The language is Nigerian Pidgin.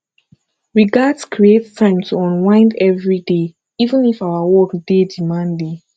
we gats create time to unwind every day even if our work dey demanding